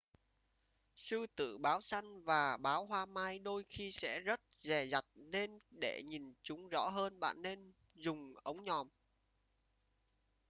sư tử báo săn và báo hoa mai đôi khi sẽ rất dè dặt nên để nhìn chúng rõ hơn bạn nên dùng ống nhòm